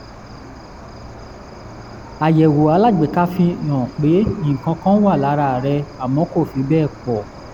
àyẹ̀wò alágbèéká fihàn pé nǹkan kan wà lára rẹ̀ àmọ́ kò fi bẹ́ẹ̀ pọ̀